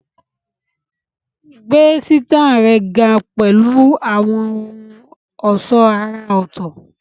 Gbé sítáìlì rẹ ga pẹ̀lú àwọn ohun ọ̀ṣọ́ àrà ọ̀tọ̀